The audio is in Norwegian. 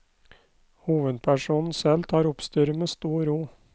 Hovedpersonen selv tar oppstyret med stor ro.